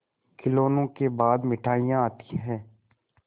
खिलौनों के बाद मिठाइयाँ आती हैं